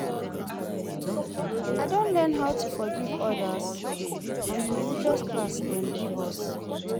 I don learn how to forgive others from di religious class dem give us.